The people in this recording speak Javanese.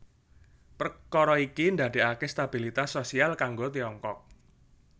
Perkara iki ndadekake stabilitas sosial kanggo Tiongkok